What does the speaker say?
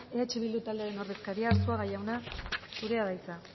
eh bildu taldearen ordezkaria arzuaga jauna zurea da hitza